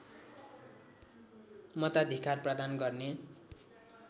मताधिकार प्रदान गर्ने